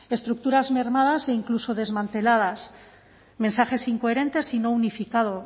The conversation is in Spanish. estructuras mermadas e incluso desmanteladas mensajes incoherentes y no unificados